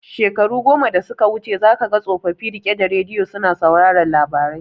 Shekaru goma da suka wuce za kaga tsofofi rike da radiyo suna sauraron labarai